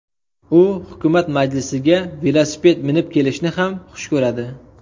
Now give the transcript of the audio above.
U hukumat majlislariga velosiped minib kelishni ham xush ko‘radi .